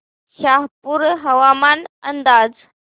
शहापूर हवामान अंदाज